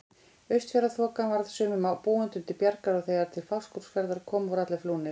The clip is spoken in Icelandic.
Austfjarðaþokan varð sumum búendum til bjargar og þegar til Fáskrúðsfjarðar kom voru allir flúnir.